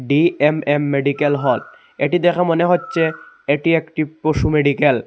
DMM medical হল এটি দেখে মনে হচ্ছে এটি একটি পশু মেডিকেল ।